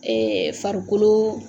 farikolo